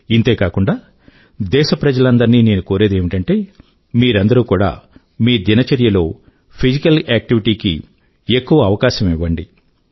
ఇంతేగాక దేశ ప్రజలందరినీ నేను కోరేది ఏమిటంటే మీరందరూ కూడా మీ దినచర్యలో ఫిజికల్ ఏక్టివిటీ కి ఎక్కువ అవకాశం ఇవ్వండి